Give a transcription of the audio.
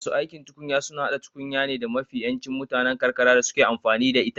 Masu aikin tukunya suna hada tukunya ne da mafi yancin mutanen karkara suke amfani da ita